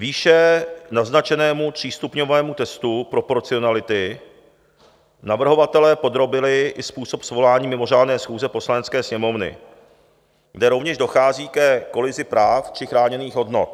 Výše naznačenému třístupňovému testu proporcionality navrhovatelé podrobili i způsob svolání mimořádné schůze Poslanecké sněmovny, kde rovněž dochází ke kolizi práv či chráněných hodnot.